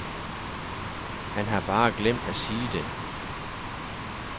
Han har bare glemt at sige det.